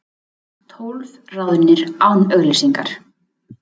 Tólf ráðnir án auglýsingar